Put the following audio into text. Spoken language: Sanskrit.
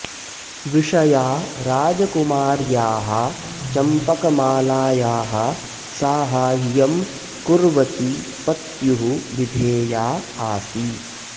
विषया राजकुमार्याः चम्पकमालायाः साहाय्यं कुर्वती पत्युः विधेया आसीत्